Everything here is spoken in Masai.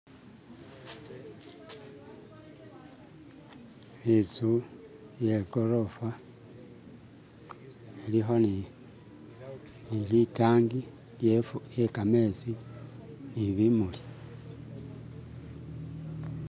intsu ye kolofa iliho ni litangi lye kametsi nibimuli